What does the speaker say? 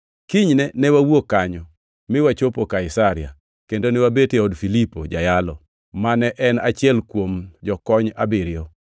Kinyne ne wawuok kanyo mi wachopo Kaisaria, kendo ne wabet e od Filipo jayalo, mane en achiel kuom jokony abiriyo.